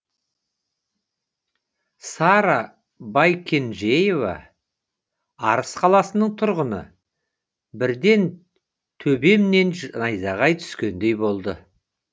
сара байкенжейова арыс қаласының тұрғыны бірден төбемнен найзағай түскендей болды